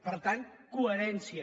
per tant coherència